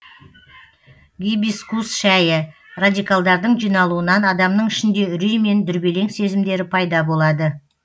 гибискус шәйі радикалдардың жиналуынан адамның ішінде үрей мен дүрбелең сезімдері пайда болады